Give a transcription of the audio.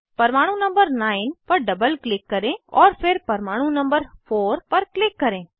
परमाणु नंबर 9 पर double click करें और फिर परमाणु नंबर 4 पर क्लिक करें